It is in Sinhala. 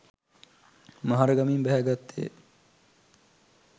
මහරගමින් බැහැ ගත්තේ